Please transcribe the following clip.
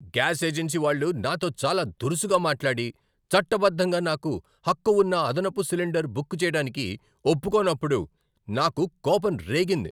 Gas agency వాళ్ళు నాతో చాలా దురుసుగా మాట్లాడి, చట్టబద్ధంగా నాకు హక్కు ఉన్న అదనపు సిలిండర్ బుక్ చేయడానికి ఒప్పుకోనప్పుడు నాకు కోపం రేగింది.